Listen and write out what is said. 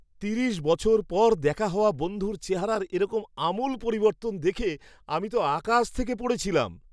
তিরিশ বছর পর দেখা হওয়া বন্ধুর চেহারার এরকম আমূল পরিবর্তন দেখে আমি তো আকাশ থেকে পড়েছিলাম!